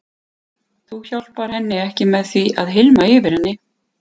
Þú hjálpar henni ekki með því að hylma yfir með henni.